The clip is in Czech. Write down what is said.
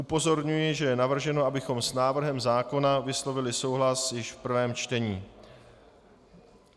Upozorňuji, že je navrženo, abychom s návrhem zákona vyslovili souhlas již v prvém čtení.